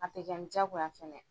A tɛ ni diyagoya fɛnɛ